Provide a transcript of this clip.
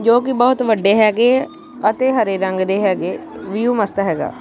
ਜੋ ਕਿ ਬਹੁਤ ਵੱਡੇ ਹੈਗੇ ਆ ਅਤੇ ਹਰੇ ਰੰਗ ਦੇ ਹੈਗੇ ਵਿਊ ਮਸਤ ਹੈਗਾ।